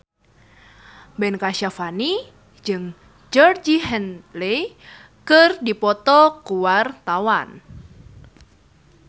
Ben Kasyafani jeung Georgie Henley keur dipoto ku wartawan